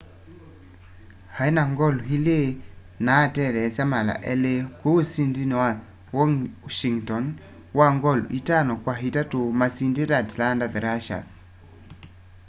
aĩ na ngolu ili na atetheesya mala elĩ kũu usindini wa washĩngton wa ngolu itano kwa itatũ masindite atlanta thrashers